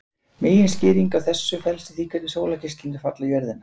Meginskýringin á þessu felst í því hvernig sólargeislarnir falla á jörðina.